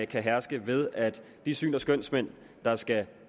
kan herske ved at de syns og skønsmænd der skal